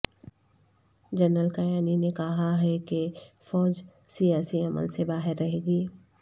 general Kayani نے کہا ہے کہ فوج سیاسی عمل سے باہر رہے گی